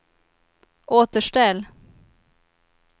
återställ